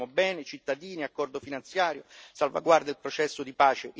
Li conosciamo bene cittadini, accordo finanziario, salvaguardia del processo di